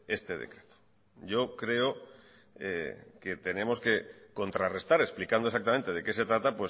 este decreto yocreo que tenemos que contrarrestar explicando exactamente de que se trata